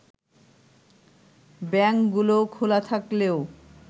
ব্যাংকগুলো খোলা থাকলেও